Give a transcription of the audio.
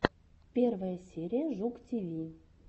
первая серия жук тиви